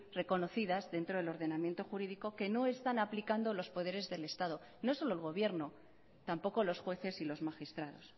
reconocidas dentro del ordenamiento jurídico que no están aplicando los poderes del estado no solo el gobierno tampoco los jueces y los magistrados